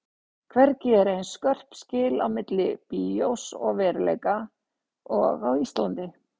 Hvergi eru eins skörp skil á milli bíós og veruleika og á Íslandi.